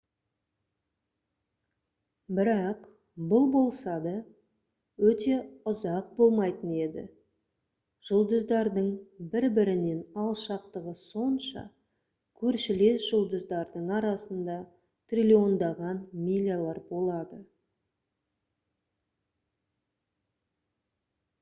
бірақ бұл болса да өте ұзақ болмайтын еді. жұлдыздардың бір бірінен алшақтығы сонша «көршілес» жұлдыздардың арасында триллиондаған милялар болады